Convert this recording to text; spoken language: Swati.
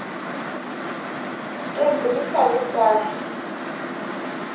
cembu lifake sandla